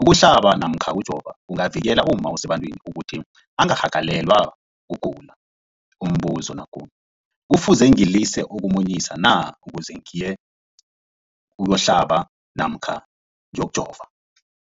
Ukuhlaba namkha ukujova kungavikela umma osebantwini ukuthi angarhagalelwa kugula. Umbuzo, kufuze ngilise ukumunyisa na ukuze ngiyokuhlaba namkha ngiyokujova?